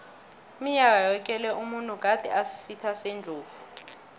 iminyaka yoke le umuntu gade asisitha sendlovu